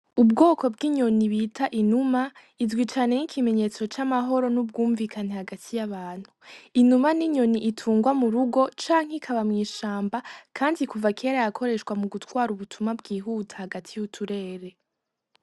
Ubwoko bw'inyoni bita inuma izwi cane nk'ikimenyetso c'amahoro n'ubwumvikane hagati y'abantu, inuma ni inyoni itungwa mu rugo canke ikaba mw'ishamba kandi kuva kera yakoreshwa mu gutwara ubutumwa bwihuta hagati y'uturere.